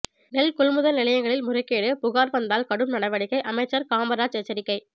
நெல் கொள்முதல் நிலையங்களில் முறைகேடு புகாா் வந்தால் கடும் நடவடிக்கைஅமைச்சா் காமராஜ் எச்சரிக்கை